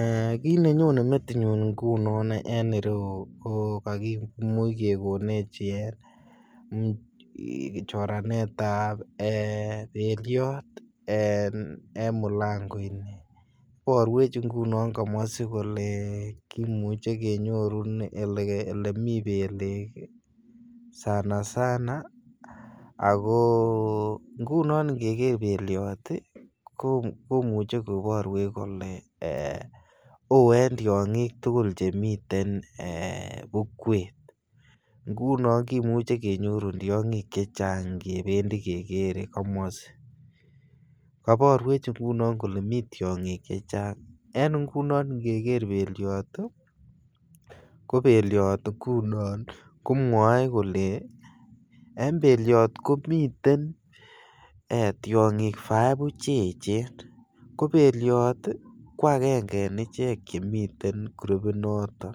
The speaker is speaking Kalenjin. um kit nenyone metinyun ngunon en ireyu ko kakimuch kegonech ee choranet ab belyot en mulango ini, iborwech ngunon komosii kole kimuche kenyorun ele mii belek sana sana ako ngunon ingeger belyot ii komuche koborwech kolee oo en tyogik tugul chemiten bukwet, ngunon kimuche kenyorun tyogik chechang kebendii kegere komosii. Koborwech ngunon kole mii tyogik chechang. En ngunon ingeger belyot ii ko belyot ngunon ko mwoech kole en belyot komiten tyogik fievu che echen ko belyot ko angenge en ichek che miten gurupit noton,